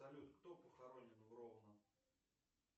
салют кто похоронен в ровно